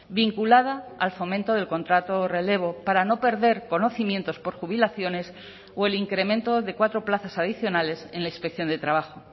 vinculada al fomento del contrato relevo para no perder conocimientos por jubilaciones o el incremento de cuatro plazas adicionales en la inspección de trabajo